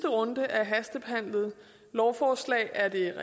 runde af hastebehandlede lovforslag er det